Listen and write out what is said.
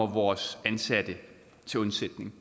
vores ansatte til undsætning